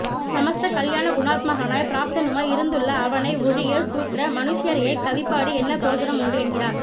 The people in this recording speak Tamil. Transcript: ஸமஸ்த கல்யாண குணாத்மகனாய் ப்ராப்தனுமாய் இருந்துள்ள அவனை ஒழிய ஷூத்ர மனுஷ்யரைக் கவி பாடி என்ன பிரயோஜனம் உண்டு என்கிறார்